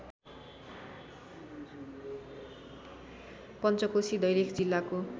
पञ्चकोशी दैलेख जिल्लाको